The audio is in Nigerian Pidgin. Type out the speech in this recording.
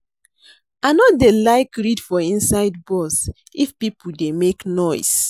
I no dey like read for inside bus if pipo dey make noise.